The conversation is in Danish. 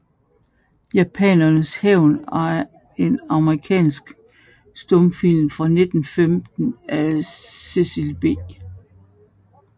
Japanerens hævn er en amerikansk stumfilm fra 1915 af Cecil B